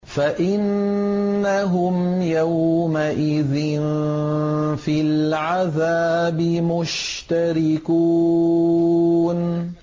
فَإِنَّهُمْ يَوْمَئِذٍ فِي الْعَذَابِ مُشْتَرِكُونَ